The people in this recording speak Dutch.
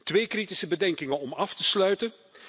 Twee kritische bedenkingen om af te sluiten.